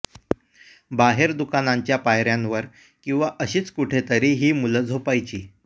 बाहेर दुकानांच्या पायऱ्यांवर किंवा अशीच कुठे तरी ही मुलं झोपायची